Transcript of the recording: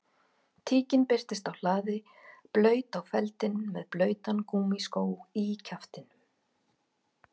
Tíkin birtist á hlaði blaut á feldinn með blautan gúmmískó í kjaftinum